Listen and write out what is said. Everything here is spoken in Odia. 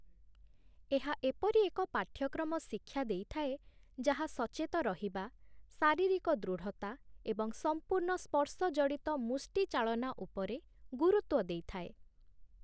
ଏହା ଏପରି ଏକ ପାଠ୍ୟକ୍ରମ ଶିକ୍ଷା ଦେଇଥାଏ ଯାହା 'ସଚେତ ରହିବା', 'ଶାରୀରିକ ଦୃଢ଼ତା' ଏବଂ 'ସମ୍ପୂର୍ଣ୍ଣ ସ୍ପର୍ଶଜଡ଼ିତ ମୁଷ୍ଟିଚାଳନା' ଉପରେ ଗୁରୁତ୍ୱ ଦେଇଥାଏ ।